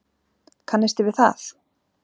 Kannisti við það!